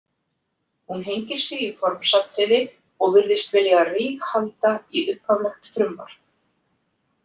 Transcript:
Hún hengir sig í formsatriði og virðist vilja ríghalda í upphaflegt frumvarp.